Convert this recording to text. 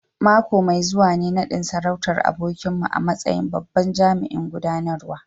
Mako mai zuwa ne nadin sarautar abokinmu a matsayin babban jami'in gudanarwa